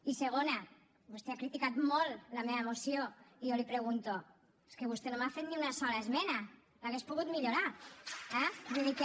i segona vostè ha criticat molt la meva moció i jo li pregunto és que vostè no m’ha fet ni una sola esmena l’hauria pogut millorar eh vull dir que